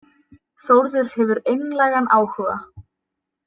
Þórður hefur einlægan áhuga.